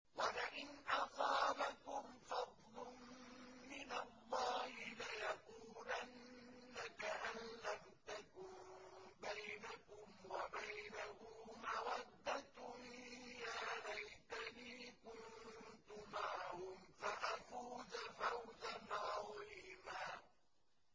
وَلَئِنْ أَصَابَكُمْ فَضْلٌ مِّنَ اللَّهِ لَيَقُولَنَّ كَأَن لَّمْ تَكُن بَيْنَكُمْ وَبَيْنَهُ مَوَدَّةٌ يَا لَيْتَنِي كُنتُ مَعَهُمْ فَأَفُوزَ فَوْزًا عَظِيمًا